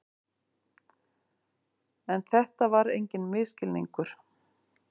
En þetta var enginn misskilningur.